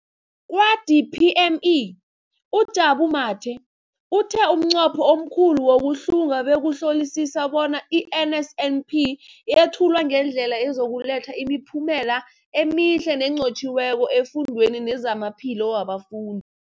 Kwa-DPME, uJabu Mathe, uthe umnqopho omkhulu wokuhlunga bekukuhlolisisa bona i-NSNP yethulwa ngendlela ezokuletha imiphumela emihle nenqotjhiweko efundweni nezamaphilo wabafun